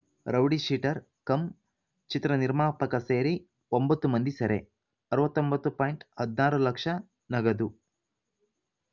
rowdy-sheeter cum ಚಿತ್ರ ನಿರ್ಮಾಪಕ ಸೇರಿ ಒಂಬತ್ತು ಮಂದಿ ಸೆರೆ ಅರವತ್ತ್ ಒಂಬತ್ತು ಪಾಯಿಂಟ್ ಹದಿನಾರು ಲಕ್ಷ ನಗದು